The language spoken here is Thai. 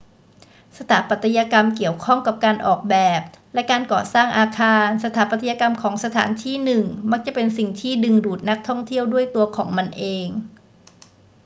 สถาปัตยกรรมเกี่ยวข้องกับการออกแบบและการก่อสร้างอาคาร สถาปัตยกรรมของสถานที่หนึ่งมักจะเป็นสิ่งที่ดึงดูดนักท่องเที่ยวด้วยตัวของมันเอง